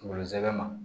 Kungolo zɛmɛ ma